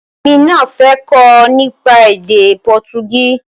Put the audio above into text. Èmi náà fẹ́ kọ́ nípa èdè Pọtugí